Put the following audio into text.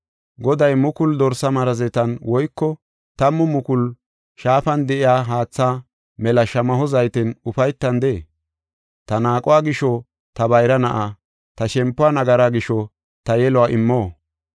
Goday mukulu dorsa marazetan woyko tammu mukulu shaafan de7iya haatha mela shamaho zayten ufaytandee? Ta naaquwa gisho, ta bayra na7aa, ta shempuwa nagaraa gisho ta yeluwa immo?